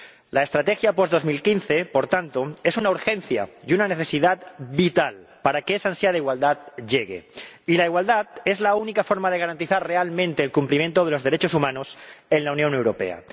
La estrategia post 2015, por tanto, es una urgencia y una necesidad vital para que esa ansia de igualdad llegue, y la igualdad es la única forma de garantizar realmente el cumplimiento de los derechos humanos en la Unión Europea.